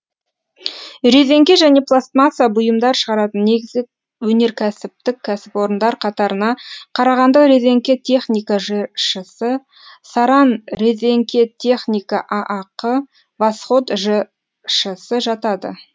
резеңке және пластмасса бұйымдар шығаратын негізгі өнеркәсіптік кәсіпорындар қатарына қарағанды резеңке техника жшс саранрезеңкетехника аақ восход жшс жатады